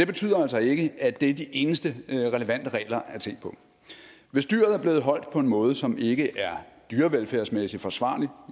betyder altså ikke at det er de eneste relevante regler at se på hvis dyret er blevet holdt på en måde som ikke er dyrevelfærdsmæssigt forsvarlig